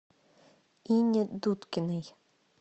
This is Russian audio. ине дудкиной